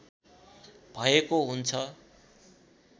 भएको हुन्छ